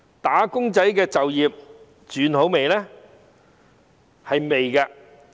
"打工仔"的就業情況好轉了嗎？